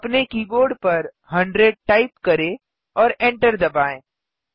अपने कीबोर्ड पर 100 टाइप करें और एन्टर दबाएँ